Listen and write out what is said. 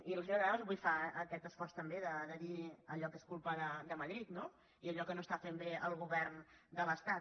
i la senyora granados avui fa aquest esforç també de dir allò que és culpa de madrid no i allò que no fa bé el govern de l’estat